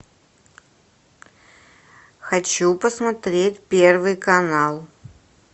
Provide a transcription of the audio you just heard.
хочу посмотреть первый канал